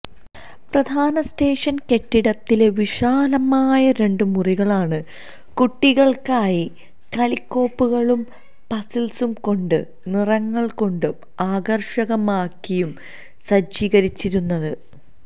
പ്രധാന സ്റ്റേഷന് കെട്ടിടത്തിലെ വിശാലമായ രണ്ടു മുറികളാണ് കുട്ടികള്ക്കായി കളിക്കോപ്പുകളും പസില്സുകള് കൊണ്ടും നിറങ്ങള്കൊണ്ടു ആകര്ഷകമാക്കിയും സജ്ജീകരിച്ചിരിക്കുന്നത്